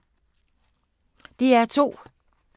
DR2